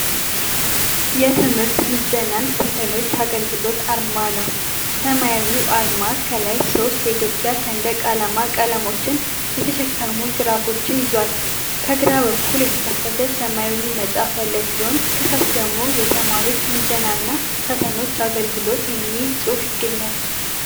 የትምህርት ምዘናና ፈተናዎች አገልግሎት አርማ ነው። ሰማያዊው አርማ ከላይ ሶስት የኢትዮጵያ ሰንደቅ ዓላማ ቀለሞችን የተሸከሙ ግራፎችን ይዟል። ከግራ በኩል የተከፈተ ሰማያዊ መጽሐፍ ያለ ሲሆን፣ ከታች ደግሞ "የተማሪዎች ምዘናና ፈተናዎች አገልግሎት" የሚል ጽሑፍ ይገኛል።